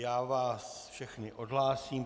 Já vás všechny odhlásím.